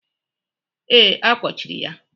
Ee, a kpochiri ya.